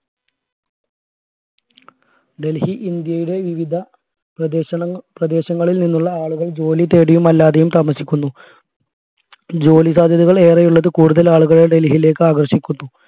ഡൽഹി ഇന്ത്യയുടെ വിവിധ പ്രദേശങ്ങളിൽ പ്രദേശങ്ങളിൽ നിന്നുള്ള ആളുകൾ ജോലി തേടിയും അല്ലാതെയും താമസിക്കുന്നു ജോലി സാധ്യതകൾ ഏറെയുള്ളത് കൂടുതൽ ആളുകളുടെ ഡൽഹിയിലേക്ക് ആകർഷിക്കുന്നു